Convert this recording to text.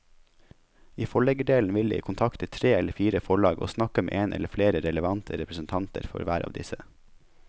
I forleggerdelen vil jeg kontakte tre eller fire forlag og snakke med en eller flere relevante representanter for hver av disse.